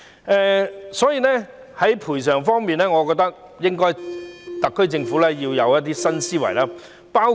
因此，在賠償方面，我覺得特區政府要有一些新思維。